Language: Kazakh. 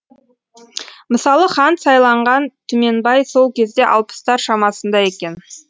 мысалы хан сайланған түменбай сол кезде алпыстар шамасында екен